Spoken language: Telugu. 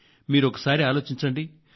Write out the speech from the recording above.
మీరొకసారి ఆలోచించండి